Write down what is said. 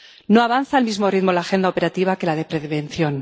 No avanza al mismo ritmo la agenda operativa que la de prevención.